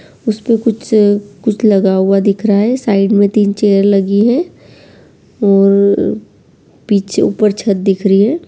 उस पे कुछ कुछ लगा हुआ है दिख रहा है साइड में तीन चेयर लगी हुई है और पीछे ऊपर छत दिख रही है।